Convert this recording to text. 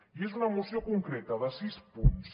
i és una moció concreta de sis punts